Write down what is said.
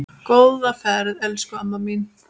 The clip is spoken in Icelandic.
Góða ferð, elsku amma mín.